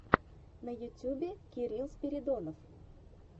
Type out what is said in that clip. на ютьюбе кирилл спиридонов